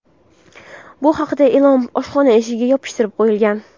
Bu haqidagi e’lon oshxona eshigiga yopishtirib qo‘yilgan.